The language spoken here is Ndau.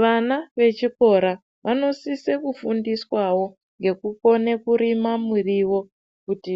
Vana vechikora vanosiso kufundiswawo ngekukona kurima muriwo kuti